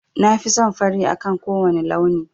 Na fi son fari akan kowane launi.